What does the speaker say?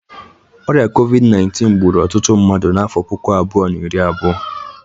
Ọrịa COVID_19 gburu ọtụtụ mmadụ n'afọ puku abụọ na iri abụọ.